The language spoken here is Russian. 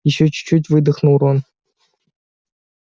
ещё чуть-чуть выдохнул рон